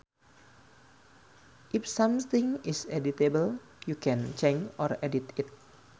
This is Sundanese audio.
If something is editable you can change or edit it